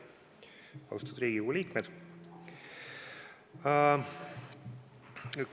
Austatud Riigikogu liikmed!